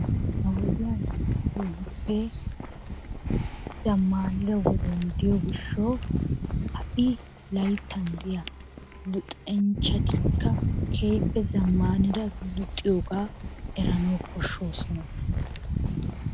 Ha wodiyan keehippe zammaanida wodiyaan diiyo gishshawu ha'i layittan diya luxanchchatikka keehippe zammanida luxiyogaa eranawu koshshosona.